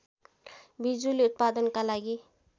बिजुली उत्पादनका लागि